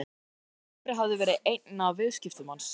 Reykjavík en Dóri hafði verið einn af viðskiptavinum hans.